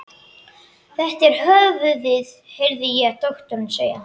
Þetta er höfuðið, heyrði ég doktorinn segja.